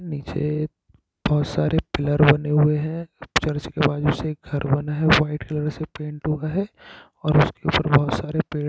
नीचे बहुत सारे पिलर बने हुए है चर्च के बाजू से घर बना है व्हाइट कलर से पेंट हुआ है और उसके ऊपर बहुत सारे पेड़--